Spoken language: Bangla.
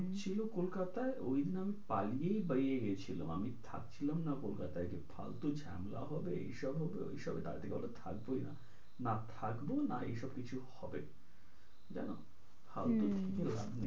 হম ছিলো কলকাতায় ওই দিন আমি পালিয়ে বেরিয়ে গিয়েছিলাম, আমি থাকছিলাম না কলকাতায় ফালতু ঝামেলা হবে এই সব হবে ওই সব হবে তার থেকে ভালো থাকবোই না না থাকবো না এই সব কিছু হবে জানোহম ফালতু থাক লাভ নেই,